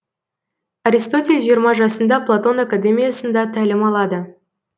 аристотель жиырма жасында платон академиясында тәлім алады